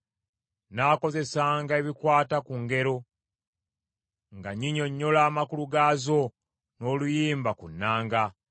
Nnaakozesanga ebikwata ku ngero, nga nnyinnyonnyola amakulu gaazo n’oluyimba ku nnanga.